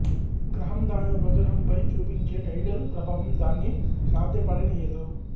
గ్రహం దాని ఉపగ్రహంపై చూపించే టైడల్ ప్రభావం దాన్ని సాధ్యపడనీయదు